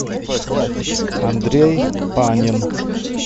андрей панин